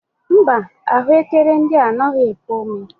Mba, ahụekere ndị a anaghị epu ome.